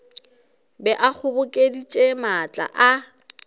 be a kgobokeditše maatla a